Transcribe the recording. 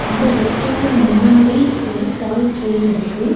அந்த ரெஸ்டாரன்ட் முன்னாடி ஒரு டாய் ட்ரெயின் இருக்கு.